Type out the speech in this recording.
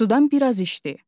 Sudan biraz içdi.